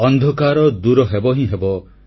ଅନ୍ଧକାର ଦୂର ହେବ ହିଁ ହେବ